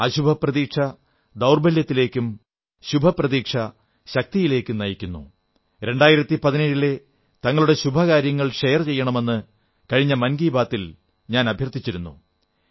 അശുഭ പ്രതീക്ഷ ദൌർബല്യത്തിലേക്കും ശുഭപ്രതീക്ഷ ശക്തിയിലേക്കും നയിക്കുന്നു 2017ലെ തങ്ങളുടെ ശുഭകാര്യങ്ങൾ പങ്കുവെക്കണമെന്ന് കഴിഞ്ഞ മൻ കീ ബാത്തിൽ ഞാൻ അഭ്യർഥിച്ചിരുന്നു